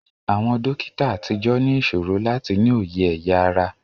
Àwọn dókítà àtijọ́ ní ìṣòro láti ní òye ẹ̀ya ara